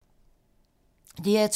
DR2